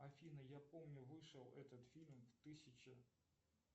афина я помню вышел этот фильм в тысяча